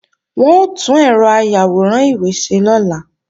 Wọ́n ó tún ẹ̀rọ ayàwòrán ìwé ṣe lọ́la